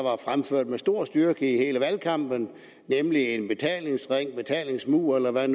med stor styrke i hele valgkampen nemlig en betalingsring en betalingsmur eller hvad